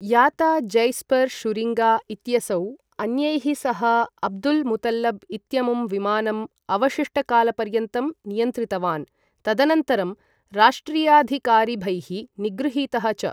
याता Jasper Schuringa इत्यसौ अन्यैः सह अब्दुल् मुतल्लब् इत्यमुं विमानम् अवशिष्टकालपर्यन्तं नियन्त्रितवान्, तदनन्तरं राष्ट्रियाधिकारिभैः निगृहीतः च।